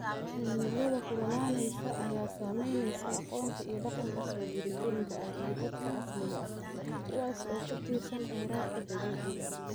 Cimilada kululaanaysa ayaa saamaynaysa aqoonta iyo dhaqanka soo jireenka ah ee dadka asaliga ah, kuwaas oo ku tiirsan khayraadka dabiiciga ah.